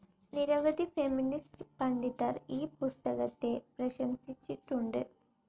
നിരവധി ഫെമിനിസ്റ്റ്‌ പണ്ഡിതർ ഈ പുസ്തകത്തെ പ്രശംസിച്ചിട്ടുണ്ട്.